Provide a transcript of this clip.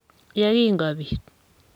ye kingobiit".